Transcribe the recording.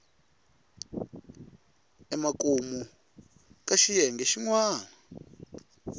emakumu ka xiyenge xin wana